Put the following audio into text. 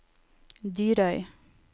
Dyrøy